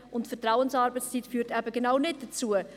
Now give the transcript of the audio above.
Die Vertrauensarbeitszeit führt eben genau nicht dazu.